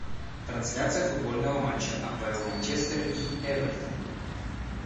трансляция футбольного матча апл манчестер и эвертон